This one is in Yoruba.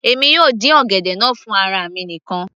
èmi yóò dín ọ̀gẹ̀dẹ̀ náà fún ara mi nìkan